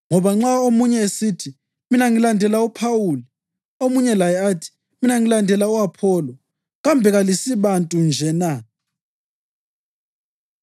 Ngoba nxa omunye esithi, “Mina ngilandela uPhawuli,” omunye laye athi, “Mina ngilandela u-Apholo,” kambe kalisibantu nje na?